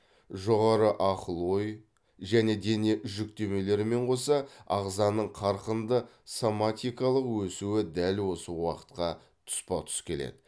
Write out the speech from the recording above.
жоғары ақыл ой және дене жүктемелерімен қоса ағзаның қарқынды соматикалық өсуі дәл осы уақытқа тұспа тұс келеді